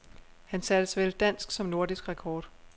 Han satte såvel dansk som nordisk rekord.